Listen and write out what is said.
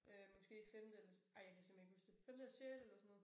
Øh måske femte eller ej jeg kan simpelthen ikke huske det. Femte og sjette eller sådan noget